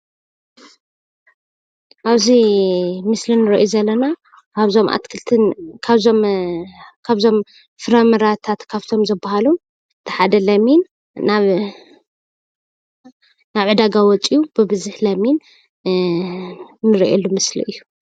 ኣብዚ ምስሊ እንርእዮ ዘለና ካብዞም ኣትክልቲ ካብዞም ፍራምረታት ካብቶም ዝበሃሉ እቲ ሓደ ለሚን ናብ ዕዳጋ ወፂኡ ብቡዝሕ ለሚን እንርእየሉ ምስሊ እዩ።